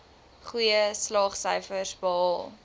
goeie slaagsyfers behaal